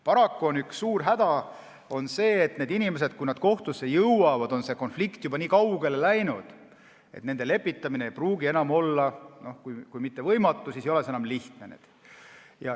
Paraku on üks suur häda see, et kui inimesed kohtusse jõuavad, siis on konflikt juba nii kaugele läinud, et kui lepitamine ei pruugi olla ka mitte võimatu, siis ei ole see enam lihtne.